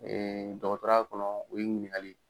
dɔgɔtɔrɔya kɔnɔ o ye ɲininkali ye.